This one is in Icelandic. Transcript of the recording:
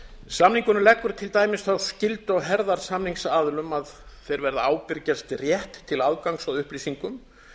samningurinn leggur til dæmis þá skyldu á herðar samningsaðilum að þeir verða að ábyrgjast rétt til aðgangs að upplýsingum